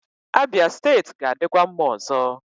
Abia steeti ga-adịkwa mma ọzọ.